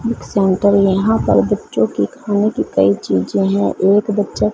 एक सेंटर यहां पर बच्चों की खाने की कई चीजे हैं एक बच्चा--